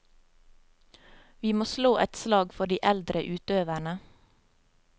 Vi må slå et slag for de eldre utøverne.